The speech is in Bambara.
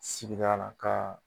Sigida la ka